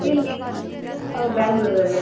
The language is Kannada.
ಎಲ್ಲಿ Bangalore ಲ್ಲಿ .